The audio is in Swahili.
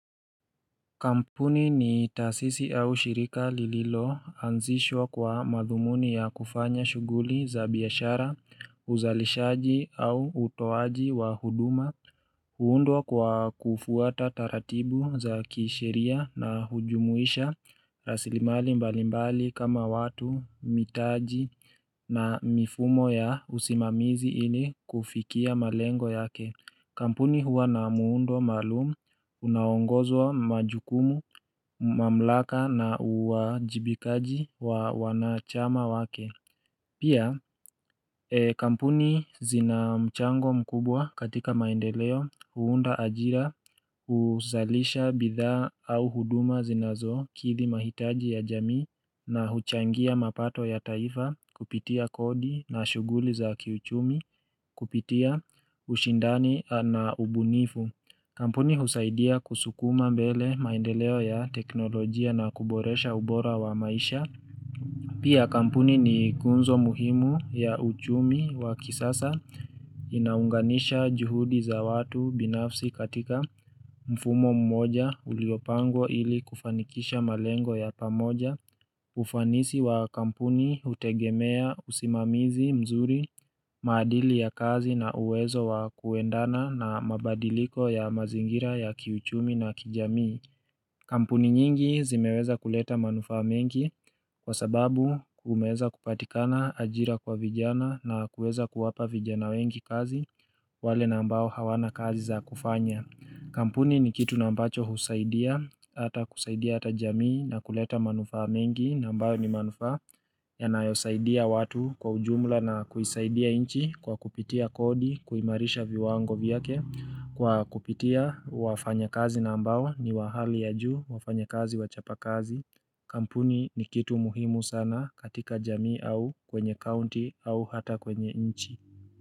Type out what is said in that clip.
Kampuni ni taasisi au shirika lililo, anzishwa kwa madhumuni ya kufanya shughuli za biashara, uzalishaji au utoaji wa huduma, huundwa kwa kufuata taratibu za kisheria na hujumuisha, rasilimali mbalimbali kama watu, mitaji na mifumo ya usimamizi ili kufikia malengo yake. Kampuni huwa na muundo maalumu, unaongozwa majukumu, mamlaka na uwajibikaji wa wanachama wake. Pia kampuni zina mchango mkubwa katika maendeleo, huunda ajira, huzalisha bidhaa au huduma zinazo kidhi mahitaji ya jamii na huchangia mapato ya taifa kupitia kodi na shughuli za kiuchumi, Kupitia ushindani na ubunifu Kampuni husaidia kusukuma mbele maendeleo ya teknolojia na kuboresha ubora wa maisha Pia kampuni ni ngunzo muhimu ya uchumi wa kisasa inaunganisha juhudi za watu binafsi katika mfumo mmoja uliopangwa ili kufanikisha malengo ya pamoja ufanisi wa kampuni, hutegemea, usimamizi mzuri, maadili ya kazi na uwezo wa kuendana na mabadiliko ya mazingira ya kiuchumi na kijamii Kampuni nyingi zimeweza kuleta manufaa mengi kwa sababu kumeeza kupatikana ajira kwa vijana na kuweza kuwapa vijana wengi kazi wale nambao hawana kazi za kufanya Kampuni ni kitu na ambacho husaidia Ata kusaidia ata jamii na kuleta manufaa mengi nambayo ni manufa yanayosaidia watu kwa ujumla na kuisaidia inchi Kwa kupitia kodi, kuimarisha viwango vyake Kwa kupitia wafanya kazi nambao ni wahali ya juu wafanya kazi wachapakazi Kampuni ni kitu muhimu sana katika jamii au kwenye county au hata kwenye inchi.